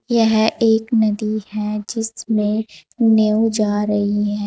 यह एक नदी है जिसमें नेउ जा रही है।